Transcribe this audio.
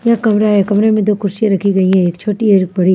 यहां कमरा है कमरे में दो कुर्सियां रखी गई है एक छोटी एक बड़ी।